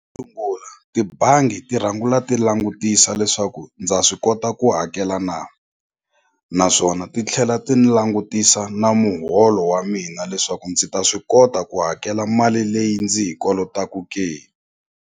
tibangi ti ti langutisa leswaku ndza swi kota ku hakela na naswona ti tlhela ti ni langutisa na muholo wa mina leswaku ndzi ta swi kota ku hakela mali leyi ndzi yi kolotaku ke.